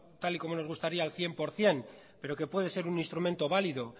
tal y como nos gustaría al cien por ciento pero que puede ser un instrumento válido